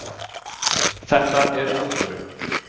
Þetta er alvöru